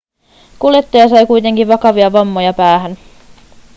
kuljettaja sai kuitenkin vakavia vammoja päähän